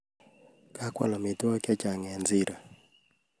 Kagoal amitwogik chechang eng siro